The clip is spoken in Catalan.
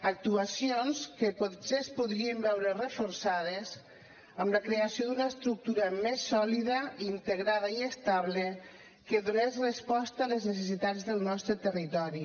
actuacions que potser es podrien veure reforçades amb la creació d’una estructura més sòlida integrada i estable que donés resposta a les necessitats del nostre territori